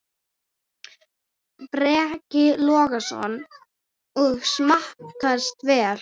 Breki Logason: Og smakkast vel?